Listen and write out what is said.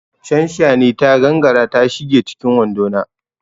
Shanshani ta gangara ta shige cikin wando na.